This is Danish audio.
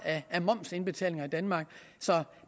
af momsindbetalinger i danmark så